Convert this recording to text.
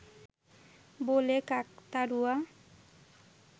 বলে কাকতাড়ুয়া